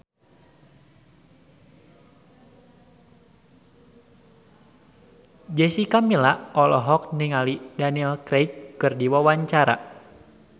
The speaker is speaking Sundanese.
Jessica Milla olohok ningali Daniel Craig keur diwawancara